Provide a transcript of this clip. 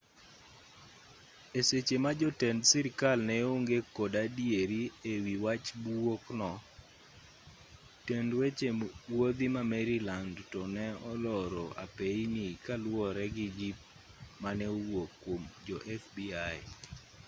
e seche ma jotend sirkal ne onge kod adieri e wi wach buok no tend weche wuodhi ma maryland to ne oloro apeyini kaluwore gi jip mane owuok kuom jo fbi